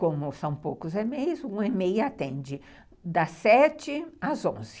Como são poucos EMEIs, um EMEI atende das sete às onze.